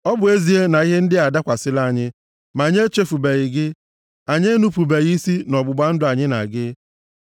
Ọ bụ ezie na ihe ndị a adakwasịla anyị, ma anyị echefubeghị gị. Anyị enupubeghị isi nʼọgbụgba ndụ anyị na gị.